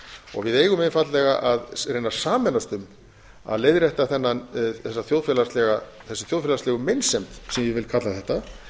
og við eigum einfaldlega að reyna að sameinast um að leiðrétta þessa þjóðfélagslegu meinsemd sem ég vil kalla þetta